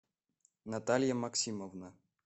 наталья максимовна